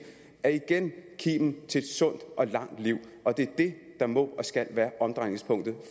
er igen kimen til et sundt og langt liv og det er det der må og skal være omdrejningspunktet